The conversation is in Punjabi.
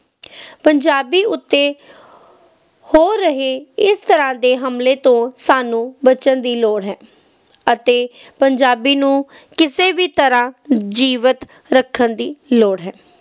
ਪੰਜਾਬੀ ਉੱਤੇ ਹੋ ਰਹੇ ਇਸ ਤਰ੍ਹਾਂ ਦੇ ਹਮਲੇ ਤੋਂ ਸਾਨੂੰ ਬਚਣ ਦੀ ਲੋੜ ਹੈ ਅਤੇ ਪੰਜਾਬੀ ਨੂੰ ਕਿਸੇ ਵੀ ਤਰ੍ਹਾਂ ਜੀਵਤ ਰੱਖਣ ਦੀ ਲੋੜ ਹੈ।